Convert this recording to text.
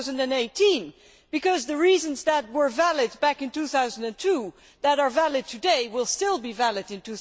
2018? Because the reasons that were valid back in 2002 that are valid today, will still be valid in